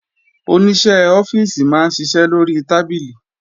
Oníṣẹ́ ọ́fíìsì máa ń ṣiṣẹ́ lórí tábìlì